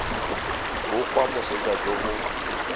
bo kwa moseja jo bo